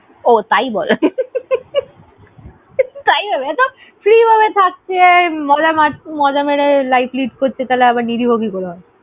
ওহ তাই বল তাই ভাবি ধুর free ভাবে থাকছে, মজা মারছে, মজা মেরে life lead করছে তাহলে আবার নিরীহ কি করে হয়?